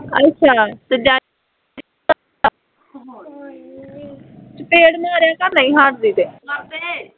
ਅੱਛਾ ਅਤੇ ਡੈਡੀ ਚਪੇੜ ਮਾਰਿਆ ਕਰ ਨਹੀਂ ਹੱਟਦੀ ਤੇ